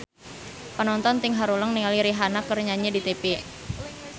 Panonton ting haruleng ningali Rihanna keur nyanyi di tipi